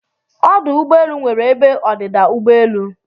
Ọdụ ụgbọelụ nwere ebe ọdịda ụgbọelụ